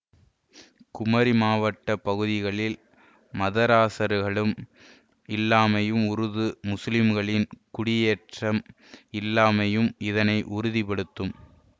குமரி மாவட்ட பகுதிகளில் மதராசகர்களும் இல்லாமையும் உருது முஸ்லீம்களின் குடியேற்றம் இல்லாமையும் இதனை உறுதிபடுத்தும்